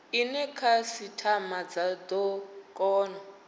ine khasitama dza do kona